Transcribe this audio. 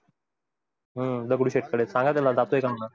दगडूशेठ कडे सांगा त्याला जातोय का म्हणा?